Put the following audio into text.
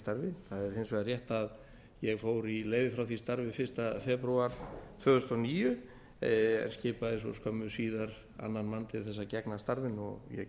vegar rétt að ég fór í leyfi frá því starfi fyrsta febrúar tvö þúsund og níu en skipaði svo síðar annan mann til að gegna starfinu og ég gegni